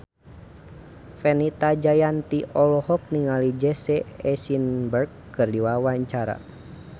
Fenita Jayanti olohok ningali Jesse Eisenberg keur diwawancara